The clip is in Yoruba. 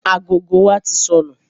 Agogo wa tí sọnù